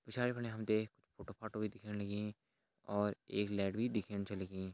पिछाड़ी फणि हम तें कुछ फोटो फाटो भी दिखेण लगीं और एक लेट भी दिखेण छ लगीं।